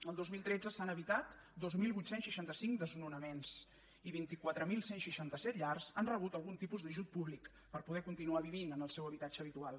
el dos mil tretze s’han evitat dos mil vuit cents i seixanta cinc desnonaments i vint quatre mil cent i seixanta set llars han rebut algun tipus d’ajut públic per poder continuar vivint en el seu habitatge habitual